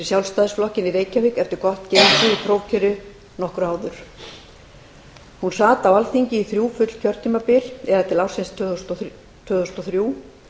sjálfstæðisflokkinn í reykjavík eftir gott gengi í prófkjöri nokkru áður hún sat á alþingi þrjú full kjörtímabil það er til ársins tvö þúsund og þrjú